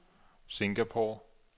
Singapore